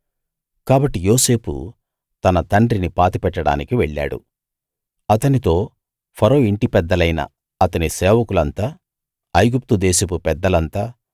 కాబట్టి యోసేపు తన తండ్రిని పాతిపెట్టడానికి వెళ్ళాడు అతనితో ఫరో ఇంటి పెద్దలైన అతని సేవకులంతా ఐగుప్తు దేశపు పెద్దలంతా